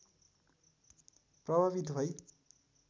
प्रभावित भई